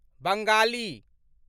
Bengali